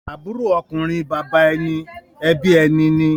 Àbúrò ọkùnrin bàbá ẹni ẹbí ẹni ni.